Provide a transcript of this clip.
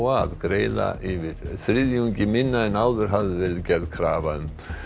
að greiða yfir þriðjungi minna en áður hafði verið gerð krafa um